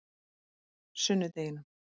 sunnudeginum